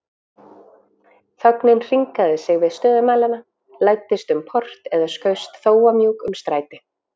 Þögnin hringaði sig við stöðumælana, læddist um port eða skaust þófamjúk um stræti.